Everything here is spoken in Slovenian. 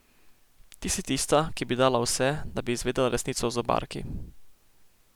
Ti si tista, ki bi dala vse, da bi izvedela resnico o zobarki.